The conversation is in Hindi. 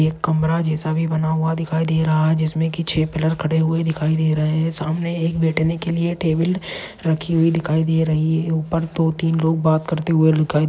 एक कमरा जैसा भी बना हुआ दिखाई दे रहा है जिसमे की छे पिलर खड़े हुवे दिखाई दे रहे है सामने एक बैठने के लिए टेबल रखी हुई दिखाई दे रही है उपर दो तीन लोग बात करते हुए दिखाई--